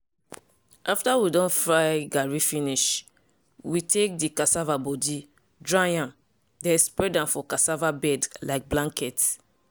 after we don fry garri finish we dey take the cassava body dry am then spread am for cassava bed like blanket.